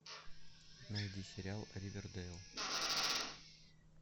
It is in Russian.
найди сериал ривердэйл